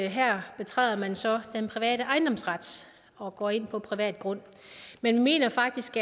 her betræder man så den private ejendomsret og går ind på privat grund men vi mener faktisk